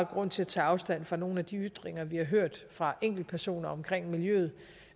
grund til at tage afstand fra nogle af de ytringer vi har hørt fra enkeltpersoner omkring miljøet